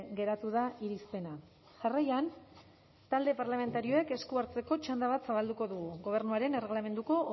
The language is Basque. geratu da irizpena jarraian talde parlamentarioek esku hartzeko txanda bat zabalduko dugu ganberaren erregelamenduko